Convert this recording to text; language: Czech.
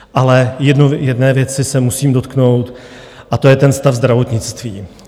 Ale jedné věci se musím dotknout a to je ten stav zdravotnictví.